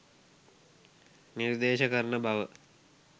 නිර්දේශ කරන බව